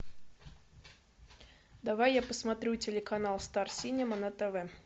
давай я посмотрю телеканал стар синема на тв